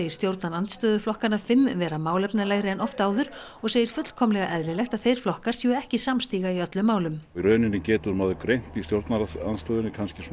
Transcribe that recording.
stjórnarandstöðuflokkana fimm vera málefnalegri en oft áður og segir fullkomlega eðlilegt að þeir flokkar séu ekki samstíga í öllum málum í rauninni getur maður greint í stjórnarandstöðunni